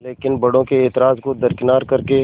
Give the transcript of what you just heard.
लेकिन बड़ों के ऐतराज़ को दरकिनार कर के